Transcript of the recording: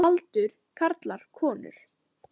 Aldur karlar konur